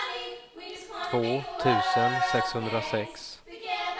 två tusen sexhundrasex